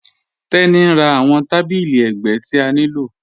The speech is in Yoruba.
Tení n rá awọn tàbílí ẹgbẹ̀ ti a nilò.